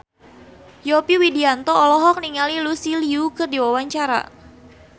Yovie Widianto olohok ningali Lucy Liu keur diwawancara